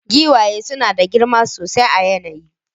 Giwaye suna da girma sosai a yanayi